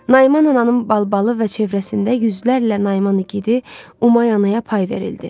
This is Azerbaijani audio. Naiman ananın balbalı və ətrafında yüzlərlə Naiman igidi Umay anaya pay verildi.